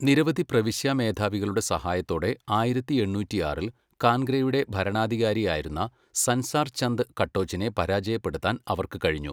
നിരവധി പ്രവിശ്യാ മേധാവികളുടെ സഹായത്തോടെ ആയിരത്തി എണ്ണൂറ്റിയാറിൽ കാൻഗ്രയുടെ ഭരണാധികാരിയായിരുന്ന സൻസാർ ചന്ദ് കട്ടോച്ചിനെ പരാജയപ്പെടുത്താൻ അവർക്ക് കഴിഞ്ഞു.